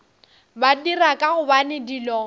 ba dira ka gobane dilo